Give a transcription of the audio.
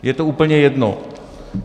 Je to úplně jedno.